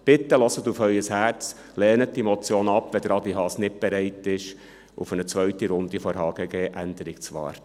Bitte hören Sie auf Ihr Herz, lehnen Sie die Motion ab, wenn Adrian Haas nicht bereit ist, auf eine zweite Runde der HGG-Änderung zu warten.